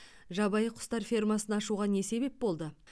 жабайы құстар фермасын ашуға не себеп болды